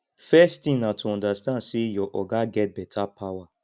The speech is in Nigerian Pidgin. first thing na to understand sey your oga get better power